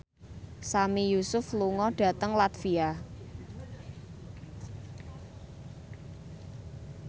Sami Yusuf lunga dhateng latvia